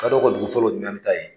Kalo ko dugu fo ko dunnani ta ye